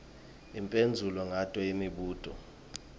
uphendvule ngato imibuto